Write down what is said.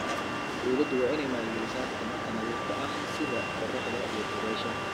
Dawladdu waa inay maalgelisaa tamarta nadiifka ah sida qoraxda iyo dabaysha.